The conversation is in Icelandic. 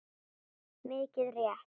Mikið rétt.